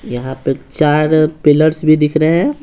यहाँ पे चार पिलर्स भी दिख रहे हैं।